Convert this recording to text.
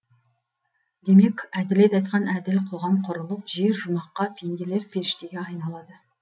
демек әділет айтқан әділ қоғам құрылып жер жұмаққа пенделер періштеге айналады